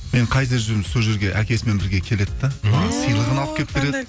мен қайда жүрмін сол жерге әкесімен бірге келеді де маған сыйлығын алып келіп береді